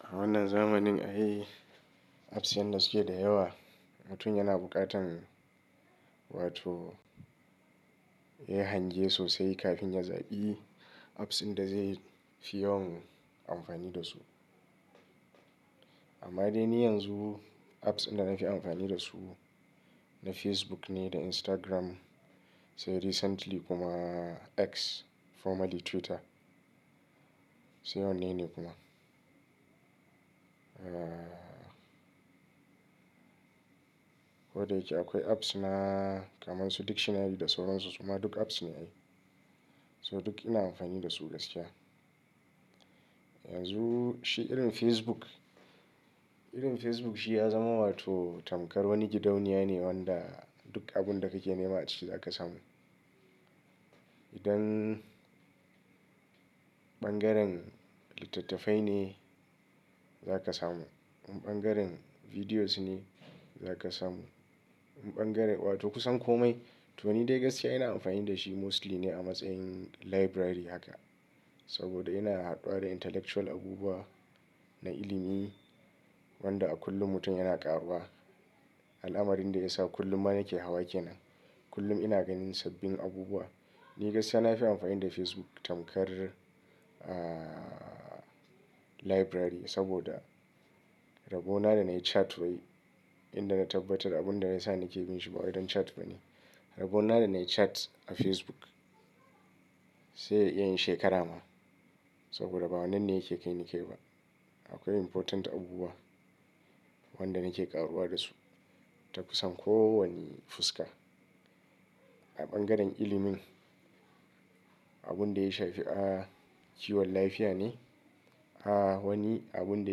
A wannan zamanin a yi apps yadda suke da yawa. Mutum yana buƙatan wato ya hangiye sosai kafin ya zaɓi apps inda zai fi yawan amfani da su. Amma dai ni yanzu apps inda na fi amfani da su na Facebook ne, da Instagram sai recently kuma X formerly Twitter sai wannan ne kuma. Kodayake akwai apps na kamansu dictionary da sauran su suma duk apps ne ai. So duk ina amfani da su gaskiya. Yanzu shi irin Facebook, irin Facebook shi ya zama wato tamkar wani gidauniya ne wanda duk abun da kake nema a ciki za ka samu. Idan ɓangaren littattafai ne za ka samu, in ɓangaren bidiyos ne za ka samu, in ɓangaren wato kusan kome. To ni dai gaskiya ina amfani da shi mostly ne a matsayin library haka. Saboda ina haduwa da intellectual abubuwa na ilimi wanda a kullum mutum yana ƙaruwa. Al'amarin da ya sa kullum ma nake hawa ke nan. Kullum ina ganin sabbin abubuwa. Ni gaskiya na fi amfani da Facebook tamkar, ahhh library saboda rabo na da na yi chat bai inda na tabbatar abun da na isa nake bin shi ba wai dan chat ba ne. Rabo na da na yi chat a Facebook sai ya iya yin shekara ma. Saboda ba wannan ne yake kai ni ke ba. Akwai important abubuwa wanda nake ƙaruwa da su ta kusan kowani fuska. A ɓangaren ilimin abun da ya shafi, ah, kiwon lafiya ne. Haa wani abun da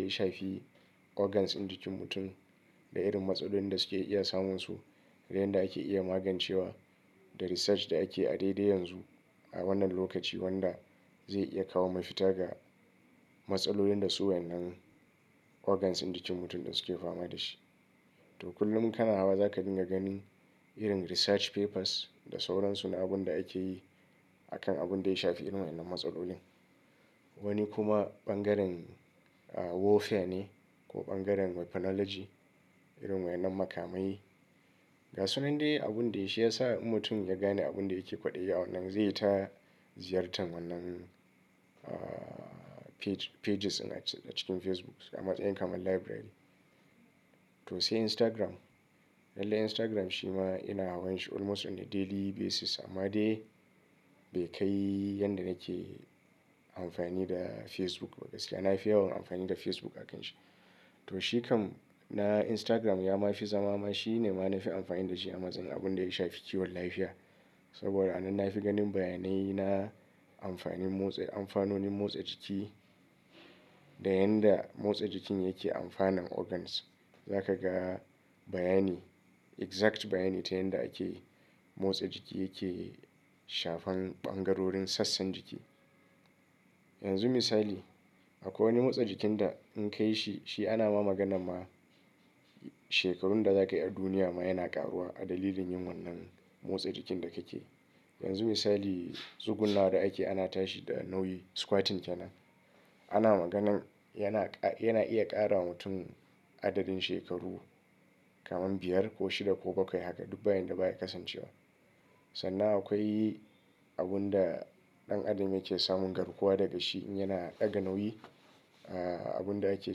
ya shafi organs ɗin jikin mutum da irin matsalolin da suke iya samun su da yanda ake iya magancewa da research da ake a daidai yanzu a wannan lokaci wanda zai iya kawo mafita ga matsalolin da su wadannan organs ɗin jikin mutum da suke fama da shi. To kullum kana hawa za ka dinga ganin irin research papers da sauran su na abun da ake yi a kan abun da ya shafi irin wannan matsalolin. Wani kuma ɓangaren warfare ne ko ɓangaren weaponology irin wannan makamai. Gasunnan dai abun dai shi ya sa mutum ya gane abun da yake kwaɗaye a wannan zai yi ta ziyartar wannan, ah, page-pages ɗin a cikin Facebook a matsayin kamar library. To sai Instagram. Lallai Instagram shi ma ina hawan shi almost on a daily basis amma dai bai kai yanda nake amfani da Facebook ba. Gaskiya na fi yawan amfani da Facebook akanshi. To shi kam na Instagram ya ma fi zama ma shi ne ma na fi amfani da shi a matsayin abun da ya shafi kiwon lafiya. Saboda a nan na fi ganin bayanai na amfanin motsa, amfanonin motsa jiki da yanda motsa jikin yake amfanan organ. Za ka ga bayani, exact bayani ta yanda ake motsa jiki yake shafan ɓangarorin sassan jiki. Yanzu misali akwai wani motsa jikin da in kai shi, shi ana ma magana ma shekarun da za ka yi a duniya ma yana ƙaruwa a dalilin yin wannan motsa jikin da kake. Yanzu misali zugunna da ake ana tashi da nauyi squatting ke nan. Ana maganan yana, yana iya ƙara wa mutum adadin shekaru kamar biyar ko shida ko bakwai haka duk bayin da baya kasancewa. Sannan akwai abun da ɗan adam yake samun garkuwa daga shi in yana ɗaga nauyi. Abun da ake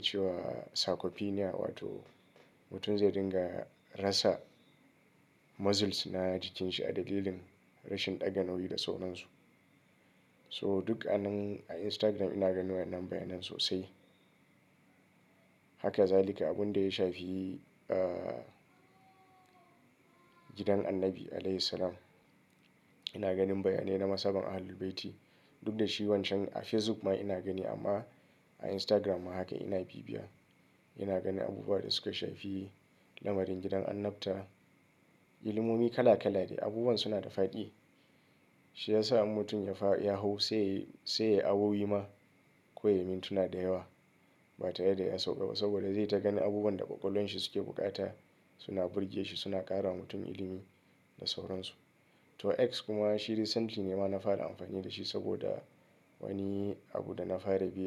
cewa sarcopenia wato mutum zai dinga rasa muscles na jikin shi a dalilin rashin ɗaga nauyi da sauran su. So duk a nan a Instagram ina ganin wannan bayanai sosai. Haka za lika haka abun da ya shafi, ah, gidan annabi alaihi s-salam. Ina ganin bayanai na masaban ahalul baiti. Duk da shi wancan a Facebook ma ina gani amma a Instagram ma haka ina bibiya. Ina ganin abubuwa da suke shafi lamarin gidan annabta. Ilimomi kala kala de. Abubuwan suna da faɗi. Shi ya sa in mutum ya fa ya hau sai, sai ya awo wi ma ko ya yi mintuna da yawa ba tare da ya sauƙa ba saboda zai ta ganin abubuwan da ƙwaƙwalwan shi suke buƙata suna burge shi suna ƙara wa mutum ilimi da sauran su. To X kuma shi recently ne ma na fara amfani da shi saboda wani abu da na fara biya.